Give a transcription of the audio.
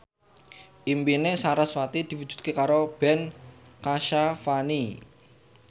impine sarasvati diwujudke karo Ben Kasyafani